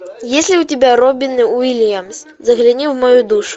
есть ли у тебя робин уильямс загляни в мою душу